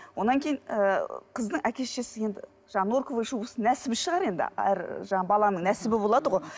одан кейін ы қыздың әке шешесі енді жаңағы норковый шубасын нәсібі шығар енді әр жаңағы баланың нәсібі болады ғой